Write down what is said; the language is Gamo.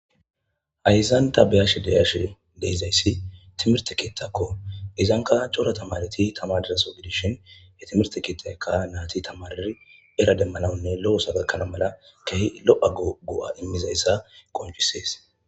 Haysan tha be7ashe de7ashee de7izayssi thimirththe keeththakoo;izankka cora thamaarethi thamaarida soho gidishin he thimirththe keeththaykka naathi thamaariri era demmanawunne lo7o ooso oykkana mala keehi lo7a go7aa immizayssa qonccissees.